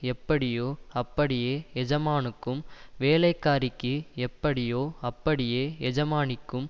எப்படியோ அப்படியே எஜமானுக்கும் வேலைக்காரிக்கு எப்படியோ அப்படியே எஜமானிக்கும்